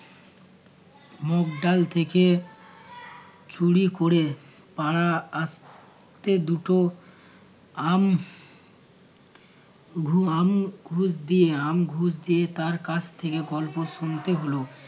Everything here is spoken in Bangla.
মগ ডাল থেকে চুরি ক'রে পাড়া আস তে দুটো আম ঘু~ আম ঘুষ দিয়ে আম ঘুষ দিয়ে তার কাছ থেকে গল্প শুনতে হলো।